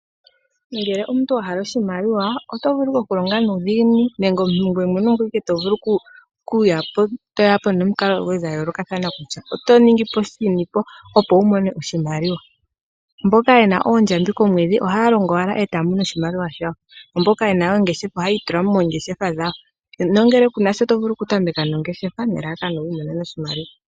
Ngele omuntu wa hala oshimaliwa oto vulu okulonga nuudhiginini , nenge omuntu ngoye mwene oto vulu okuya po toya po nomikalo dhoye dha yoolokathana kutya oto ningi po shini po opo wu mone oshimaliwa. Mboka ye na oondjambi komwedhi ohaya longo e ta ya mono oshimaliwa shawo. Mboka ye na oongeshefa ohayi itula moongeshefa dhawo nongele ku na sho to vulu okutameka nongeshefa nelalakano wi imonene oshimaliwa.